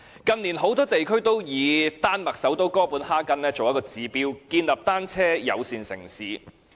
近年，很多地區都以丹麥首都哥本哈根作指標，建立單車友善城市。